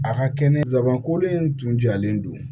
A ka kɛnɛ sabanan kolen in tun jalen don